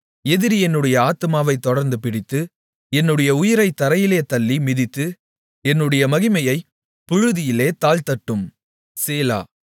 எதிரி என்னுடைய ஆத்துமாவைத் தொடர்ந்துபிடித்து என்னுடைய உயிரைத் தரையிலே தள்ளி மிதித்து என்னுடைய மகிமையைப் புழுதியிலே தாழ்த்தட்டும் சேலா